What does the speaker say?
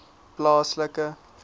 plaaslike